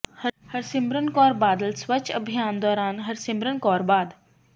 ਹਰਸਿਮਰਤ ਕੌਰ ਬਾਦਲ ਸਵੱਛ ਅਭਿਆਨ ਦੌਰਾਨ ਹਰਸਿਮਰਤ ਕੌਰ ਬਾਦ